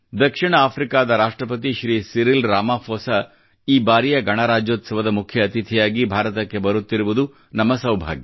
ದಕ್ಷಿಣ ಆಫ್ರಿಕಾದ ರಾಷ್ಟ್ರಪತಿ Shri Cyril Ramaphosa ಈ ಬಾರಿಯ ಗಣರಾಜ್ಯೋತ್ಸವದ ಮುಖ್ಯ ಅತಿಥಿಯಾಗಿ ಭಾರತಕ್ಕೆ ಬರುತ್ತಿರುವುದು ನಮ್ಮ ಸೌಭಾಗ್ಯ